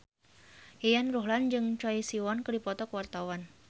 Yayan Ruhlan jeung Choi Siwon keur dipoto ku wartawan